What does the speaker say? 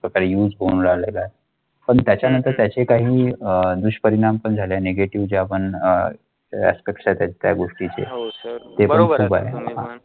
नंतर त्याचे काही अह दुष्परिणाम पण झाल्याने नेगेटीव पण अह कक्षात आहेत या गोष्टीची